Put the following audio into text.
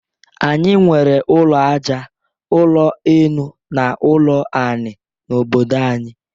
Anyị nwere ụlọ aja, ụlọ enu na ụlọ anị n'obodo anyị.